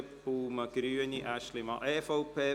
, Baumann/Grüne und Aeschlimann/EVP.